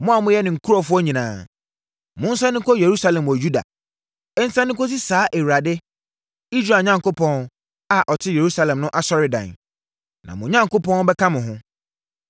Mo a moyɛ ne nkurɔfoɔ nyinaa, monsane nkɔ Yerusalem wɔ Yuda, nsane nkɔsi saa Awurade, Israel Onyankopɔn, a ɔte Yerusalem no asɔredan. Na mo Onyankopɔn bɛka mo ho.